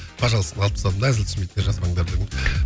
пожалуйста ны алып тастадым да әзіл түсінбейтіндер жазбаңдар дедім